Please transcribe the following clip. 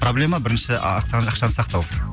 проблема бірінші ақшаны сақтау